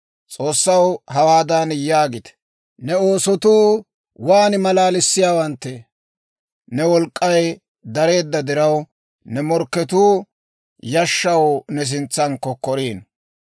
S'oossaw hawaadan yaagite; «Ne oosotuu waan malalissiyaawanttee! Ne wolk'k'ay dareedda diraw, ne morkketuu yashshaw ne sintsan kokkoriino.